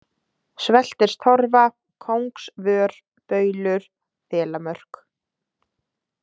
Sveltistorfa, Kóngsvör, Baulur, Þelamörk